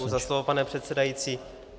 Děkuji za slovo, pane předsedající.